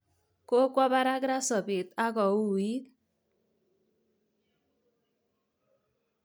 Kokwo barak ra sobet akouit.